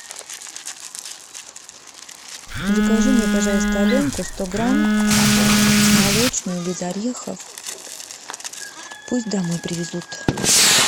закажи мне пожалуйста аленку сто грамм молочную без орехов пусть домой привезут